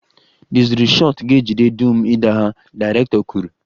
The zuru shot ga-ejide dum idaha, director kwuru